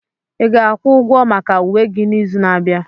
Ị ga-akwụ ụgwọ maka uwe gị n'izu na-abịa?